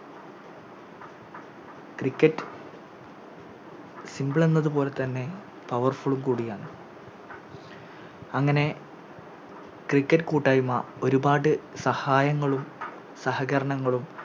Cricket simple എന്നതുപോലെതന്നെ Powerful ഉം കൂടിയാണ് അങ്ങനെ Cricket കൂട്ടായ്മ ഒരുപാട് സഹായങ്ങളും സഹകരങ്ങളും